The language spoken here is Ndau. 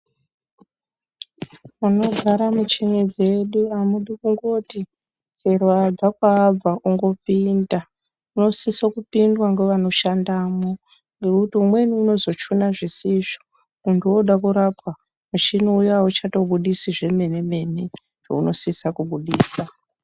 Munogara muchini dzedu amudi kungoti chero wabva kwaabva ongopinda munosisa kupindwa ngevanoshandamo ngekuti umweni unozochuna zvisizvo muntu oda kurapwa muchini uya auchatobudisi zvemenemene zvaunosisa kubudisa.